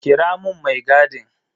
Kira mun mai gadin.